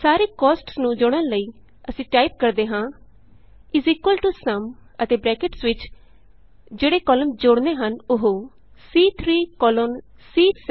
ਸਾਰੇ ਕੋਸਟਸ ਨੂੰ ਜੋੜਨ ਲਈ ਅਸੀਂ ਟਾਈਪ ਕਰਦੇ ਹਾਂ SUMਅਤੇ ਬਰੈਕਟਸ ਵਿਚo ਜਿਹੜੇ ਕਾਲਮਸ ਜੋੜਨੇ ਹਨ ਉਹ ਸੀ3 ਕੋਲੋਨ C7